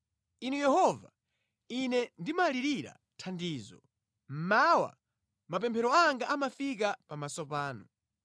Inu Yehova, Ine ndimalirira thandizo; mmawa mapemphero anga amafika pamaso panu.